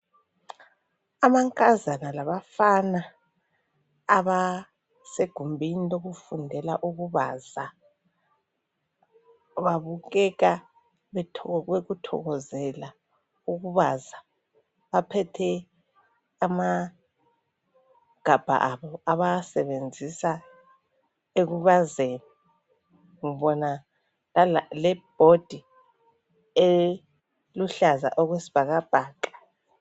Amankazana labafana abasegumbini lokufundela ukubaza babukeka bekuthokozela ukubaza. Baphethe amagabha abo abawasebenzisa ekubazeni. Ngibona lebhodi eluhlaza okwesibhakabhaka.